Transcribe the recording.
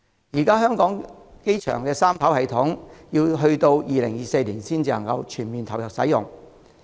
現時香港國際機場的三跑道系統須至2024年才全面投入服務。